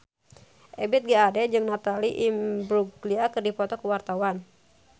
Ebith G. Ade jeung Natalie Imbruglia keur dipoto ku wartawan